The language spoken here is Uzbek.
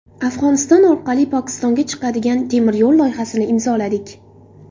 Afg‘oniston orqali Pokistonga chiqadigan temiryo‘l loyihasini imzoladik.